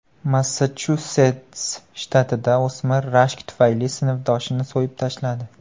Massachusets shtatida o‘smir rashk tufayli sinfdoshini so‘yib tashladi.